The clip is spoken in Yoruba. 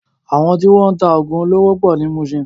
Àwọn tí wọ́n ń ta oògùn olóró pọ̀ ní Muṣin.